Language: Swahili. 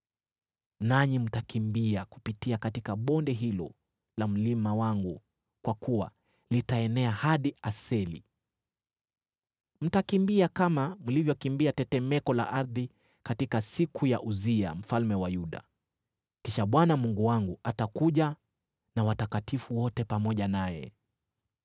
Nanyi mtakimbia kupitia katika bonde hilo la mlima wangu kwa kuwa litaenea hadi Aseli. Mtakimbia kama mlivyokimbia tetemeko la ardhi katika siku za Uzia mfalme wa Yuda. Kisha Bwana Mungu wangu atakuja na watakatifu wote pamoja naye.